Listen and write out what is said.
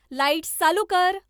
lights चालू कर